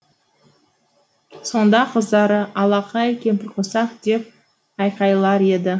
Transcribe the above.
сонда қыздары алақай кемпірқосақ деп айқайлар еді